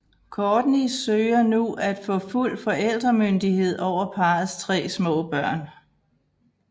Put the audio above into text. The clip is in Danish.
Kourtney søger nu at få fuld forældremyndighed over parrets tre små børn